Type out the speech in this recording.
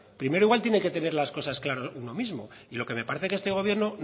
primero igual tiene que tener las cosas claras uno mismo y lo que me parece es que este gobierno